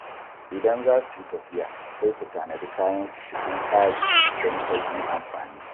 Idan za su yi tafiya, sai su tanadi kayan su cikin tsari don sauƙin amfani.